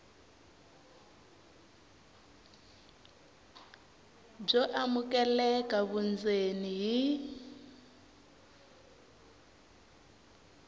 byo amukeleka vundzeni hi